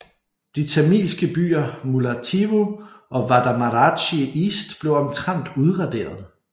De tamilske byer Mullaittivu og Vadamaradchi East blev omtrent udraderet